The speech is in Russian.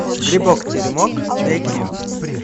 грибок теремок найти